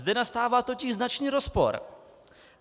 Zde nastává totiž značný rozpor.